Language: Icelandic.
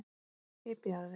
Hypjaðu þig!